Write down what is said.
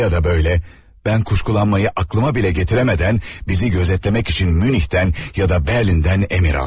Öylə ya da böylə, mən kuşkulanmayı aklıma belə gətirəmədən bizi gözetləmək üçün Münihdən ya da Berlindən əmir aldı.